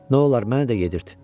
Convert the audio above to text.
Nolar, mənə də yedirt?